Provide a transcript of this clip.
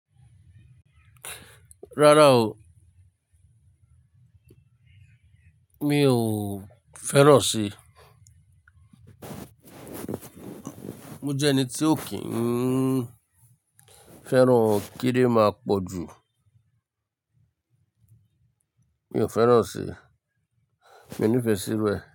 Rárá o. Mi ò fẹ́ràn si. Mo jẹ́ ẹni tí ò kí ń fẹ́ràn kí dé máa pọ̀ jù. Mi ò fẹ́ràn ọ́ ṣe. Mi ò nífẹ̀ẹ́ sí iru ẹ̀